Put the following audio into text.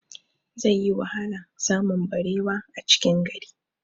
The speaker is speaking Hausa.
Zai yi wahala samun barewa a cikin gari